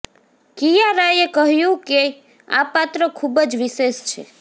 કિયારાએ કહ્યું કે આ પાત્ર ખૂબ જ વિશેષ છે